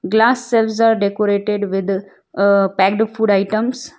Glass shelves are decorated with uhh packed food items.